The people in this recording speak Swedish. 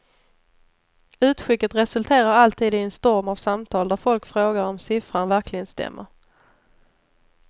Utskicket resulterar alltid i en storm av samtal där folk frågar om siffran verkligen stämmer.